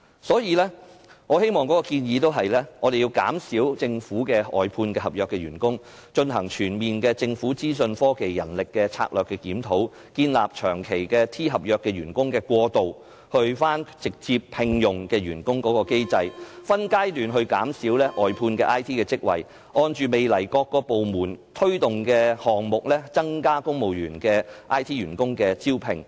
所以，我的建議是減少政府的外判合約員工、進行全面的政府資訊科技人力資源策略的檢討、建立長期 T 合約員工過渡到直接聘用的機制、分階段減少外判的 IT 職位，以及按照未來各個部門推動的項目，增加公務員編制下的 IT 員工的招聘。